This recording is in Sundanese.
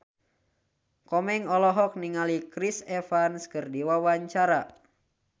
Komeng olohok ningali Chris Evans keur diwawancara